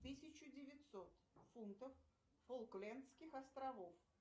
тысячу девятьсот фунтов фолклендских островов